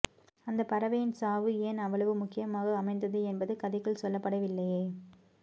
அந்தப்பறவையின் சாவு ஏன் அவ்வளவு முக்கியமாக அமைந்தது என்பது கதைகுள் சொல்லப்படவில்லையே